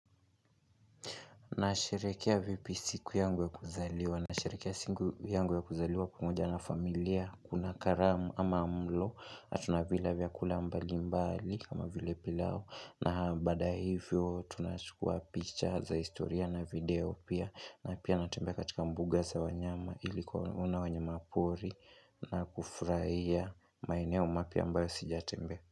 Nasherekea vipi siku yangu ya kuzaliwa. Nasherekea siku yangu ya kuzaliwa pamoja na familia. Kuna karamu ama mlo. Natuna vila vyakula mbali mbali kama vile pilau. Na baada ya hivyo tunachukua picha za historia na video pia. Na pia natembea katika mbunga za wanyama ili kuwaona wanyama pori na kufurahia maeneo mapya ambayo sijatembea.